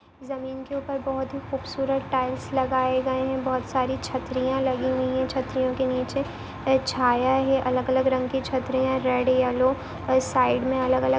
जमीन के ऊपर बहुत हि है खूबसूरत टाइल्स लागए गए है बहुत सारी छत्रीया लगी हुई है छत्रिया नीचे छाया है अलग अलग रंग की छत्रीया रेड येल्लो और साइड में अलग-अलग--